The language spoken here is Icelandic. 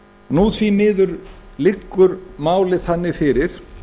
nú því miður liggur málið þannig fyrir